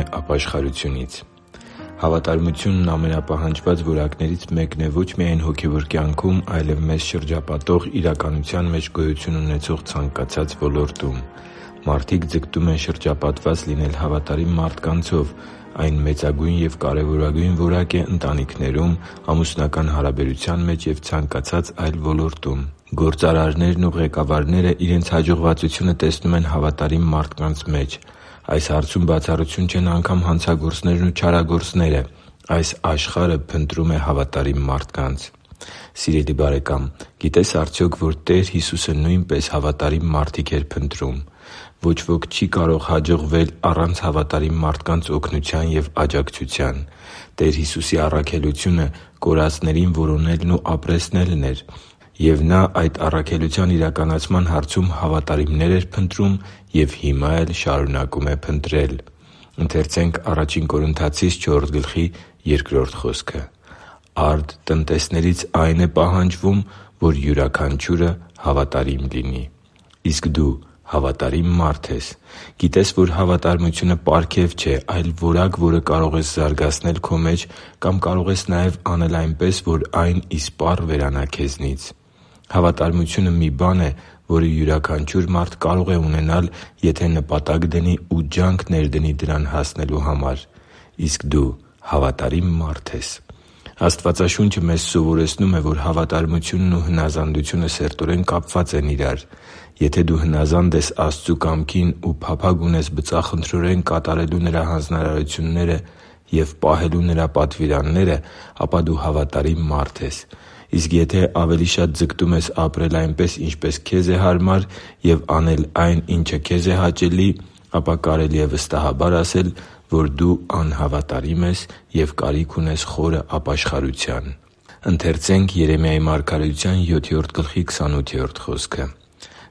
է ապաշխարությունից Հավատարմությունն ամենապահանջված որակներից մեկն է ոչ միայն հոգևոր կյանքում, այլև մեզ շրջապատող իրականության մեջ գոյություն ունեցող ցանկացած ոլորտում։ Մարդիկ ձգտում են շրջապատված լինել հավատարիմ մարդկանցով։ Այն մեծագույն և կարևորագույն որակ է ընտանիքներում, ամուսնական հարաբերության մեջ և ցանկացած այլ ոլորտում։ Գործարարները, ղեկավարները իրենց հաջողվածությունը տեսնում են հավատարիմ մարդկանց մեջ։ Այս հարցում բացառություն չեն անգամ հանցագործներն ու չարագործները։ Այս աշխարհը փնտրում է հավատարիմ մարդկանց։ Սիրելի՛ բարեկամ, գիտե՞ս արդյոք, որ Տեր Հիսուսը նույնպես հավատարիմ մարդիկ էր փնտրում։ Ոչ ոք չի կարող հաջողվել առանց հավատարիմ մարդկանց օգնության և աջակցության։ Տեր Հիսուսի առաքելությունը կորածներին որոնելն ու ապրեցնելն էր։ Եվ Նա այդ առաքելության իրականացման հարցում հավատարիմներ էր փնտրում և հիմա էլ շարունակում է փնտրել։ «Արդ տնտեսներից այն է պահանջվում, որ յուրաքանչյուրը հավատարիմ լինի» (Ա Կորնթացիս 4.2): Իսկ դու հավատարի՞մ մարդ ես։ Գիտե՞ս, որ հավատարմությունը պարգև չէ, այլ որակ, որը կարող ես զարգացնել քո մեջ կամ կարող ես նաև անել այնպես, որ այն իսպառ հեռանա քեզնից։ Հավատարմությունը մի բան է, որը յուրաքանչյուր մարդ կարող է ունենալ, եթե նպատակ դնի ու ջանք ներդնի դրան հասնելու համար։ Իսկ դու հավատարի՞մ մարդ ես։ Աստվածաշունչը մեզ սովորեցնում է, որ հավատարմությունն ու հնազանդությունը սերտորեն կապված են իրար։ Եթե դու հնազանդ ես Աստծու կամքին ու փափագ ունես բծախնդրորեն կատարելու Նրա հանձնարարությունները և պահելու Նրա պատվիրանները, ապա դու հավատարիմ մարդ ես։ Իսկ եթե ավելի շատ ձգտում ես ապրել այնպես, ինչպես քեզ է հարմար և անել այն, ինչը քեզ է հաճելի, ապա կարելի է վստահաբար ասել, որ դու անհավատարիմ ես և կարիք ունես խորը ապաշխարության։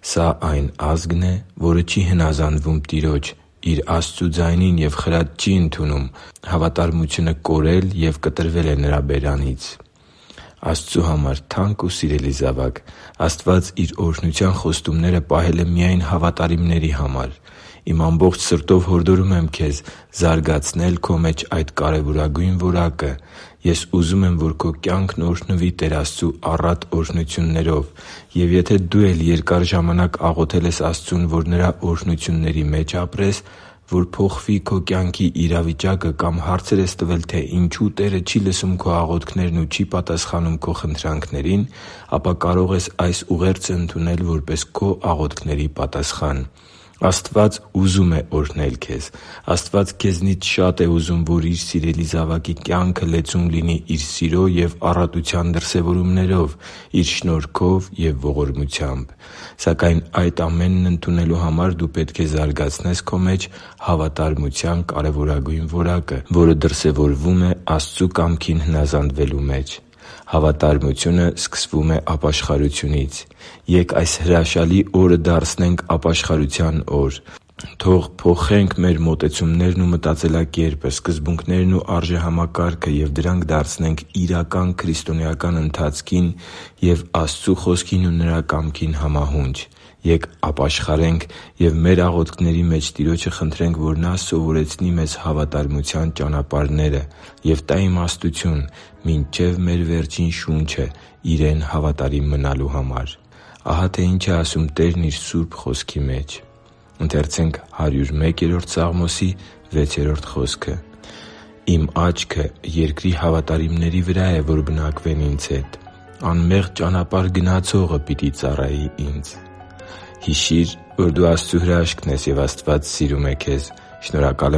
«Սա այն ազգն է, որ չի հնազանդվում Տիրոջ՝ իր Աստծու ձայնին և խրատ չի ընդունում. հավատարմությունը կորել և կտրվել է նրանց բերանից» (Երեմիա 7.28): Աստծու համար թանկ ու սիրելի՛ զավակ, Աստված Իր օրհնության խոստումները պահել է միայն հավատարիմների համար։ Իմ ամբողջ սրտով հորդորում եմ քեզ զարգացնել քո մեջ այդ կարևորագույն որակը։ Ես ուզում եմ, որ քո կյանքն օրհնվի Տեր Աստծու առատ օրհնություններով։ Եվ եթե դու էլ երկար ժամանակ աղոթել ես Աստծուն, որ Նրա օրհնությունների մեջ ապրես, որ փոխվի քո կյանքի իրավիճակը կամ հարցեր ես տվել, թե ինչո՞ւ Տերը չի լսում քո աղոթքներն ու չի պատասխանում քո խնդրանքներին, ապա կարող ես այս ուղերձը ընդունել որպես քո աղոթքների պատասխան։ Աստված ուզում է օրհնել քեզ։ Աստված քեզնից շա՛տ է ուզում, որ Իր սիրելի զավակի կյանքը լեցուն լինի Իր սիրո և առատության դրսևորումներով՝ Իր շնորհքով և ողորմությամբ։ Սակայն այդ ամենն ընդունելու համար դու պետք է զարգացնես քո մեջ հավատարմության կարևորագույն որակը, որը դրսևորվում է Աստծու կամքին հնազանդվելու մեջ։ Հավատարմությունը սկսվում է ապաշխարությունից։ Ե՛կ այս հրաշալի օրը դարձնենք ապաշխարության օր։ Թո՛ղ փոխենք մեր մոտեցումներն ու մտածելակերպը, սկզբունքներն ու արժեհամակարգը և դրանք դարձնենք իրական քրիստոնեական ընթացքին և Աստծու Խոսքին ու Նրա կամքին համահունչ։ Ե՛կ ապաշխարենք և մեր աղոթքների մեջ Տիրոջը խնդրենք, որ Նա սովորեցնի մեզ հավատարմության ճանապարհները և տա իմաստություն մինչև մեր վերջին շունչը Իրեն հավատարիմ մնալու համար։ Ահա թե ինչ է ասում Տերն Իր սուրբ Խոսքի մեջ․ «Իմ աչքը երկրի հավատարիմների վրա է, որ բնակվեն Ինձ հետ. անմեղ ճանապարհ գնացողը պիտի ծառայի Ինձ» (Սաղմոս 101.6): Հիշի՛ր, որ դու Աստծո հրաշքն ես, և Աստված սիրում է քեզ։ Շնորհակալ